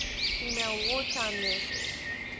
female wartime nurses